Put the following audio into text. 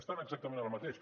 estan exactament en el mateix